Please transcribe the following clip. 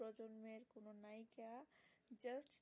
just